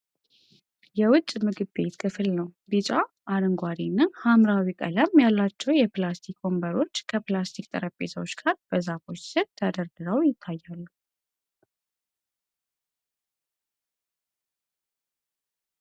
የውጭ ምግብ ቤት ክፍል ነው። ቢጫ፣ አረንጓዴ እና ሐምራዊ ቀለም ያላቸው የፕላስቲክ ወንበሮች ከፕላስቲክ ጠረጴዛዎች ጋር በዛፎች ስር ተደርድረው ይታያሉ።